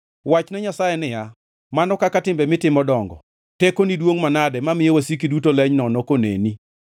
Wachne Nyasaye niya, “Mano kaka timbe mitimo dongo! Tekoni duongʼ manade, mamiyo wasiki duto leny nono koneni.